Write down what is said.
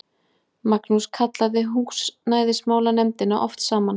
Magnús kallaði húsnæðismálanefndina oft saman.